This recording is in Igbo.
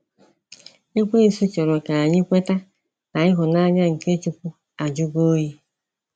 Ekwensu chọrọ ka anyị kweta na ịhụnanya nke chukwu ajụgo oyi.